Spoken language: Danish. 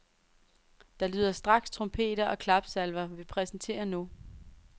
Der lyder straks trompeter og klapsalver, vi præsenterer nu.